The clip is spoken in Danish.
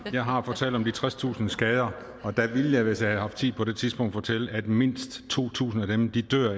jeg har fortalt om de tredstusind skader og der ville jeg hvis jeg havde haft tid på det tidspunkt have fortalt at mindst to tusind af dem